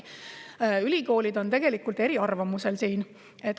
Ülikoolidel on siin tegelikult erinevad arvamused.